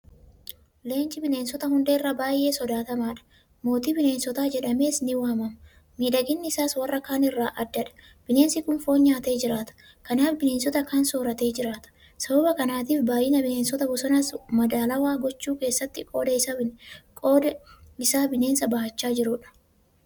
Leenci bineensota hunda irra baay'ee sodaatamaadha. Mootii bineensotaa jedhamees niwaamama. Miidhaginni isaas warra kaan irraa addadha. Bineensi kun Foon nyaatee jiraata. Kanaaf bineensota kaan soorratee jiraata. Sababa kanaatiif baay'ina bineensota bosonaas madaalawaa gochuu keessatti qooda isaa bineensa bahachaa jirudha.